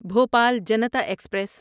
Bhopal Janata express